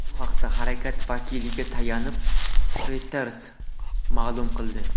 Bu haqda harakat vakiliga tayanib, Reuters ma’lum qildi .